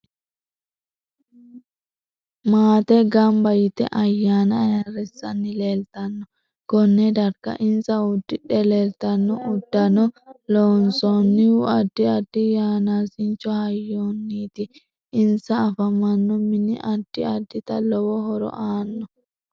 Maate ganbba yite ayyanna ayiirisanni leelitanno konne darga insa uddidhe leeltanno uddanno loonsoonihu addi addi yanaasincho hayyoniiti insa afamanno mini addi addita lowo horo aanno